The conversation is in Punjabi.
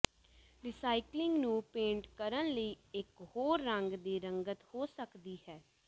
ਰੀਸਾਈਕਲਿੰਗ ਨੂੰ ਪੇਂਟ ਕਰਨ ਲਈ ਇਕ ਹੋਰ ਰੰਗ ਦੀ ਰੰਗਤ ਹੋ ਸਕਦੀ ਹੈ